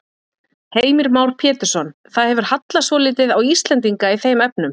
Heimir Már Pétursson: Það hefur hallað svolítið á Íslendinga í þeim efnum?